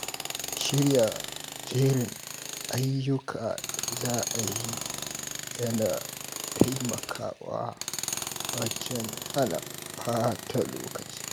Shirya jerin ayyukan da za a yi yana taimakawa wajen hana ɓata lokaci.